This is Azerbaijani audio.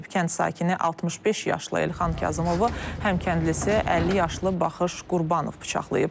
Kənd sakini 65 yaşlı Elxan Kazımovu həm kəndlisi 50 yaşlı Baxış Qurbanov bıçaqlayıb.